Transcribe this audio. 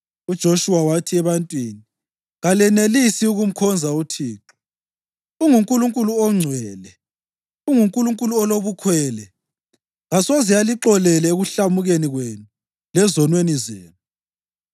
UJoshuwa wathi ebantwini, “Kalenelisi ukumkhonza uThixo. UnguNkulunkulu ongcwele; unguNkulunkulu olobukhwele. Kasoze alixolele ekuhlamukeni kwenu lezonweni zenu.